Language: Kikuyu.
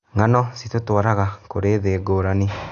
Ng'ano citũtũaraga kũrĩ thĩ ngũrani.